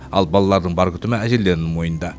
ал балалардың бар күтімі әжелерінің мойнында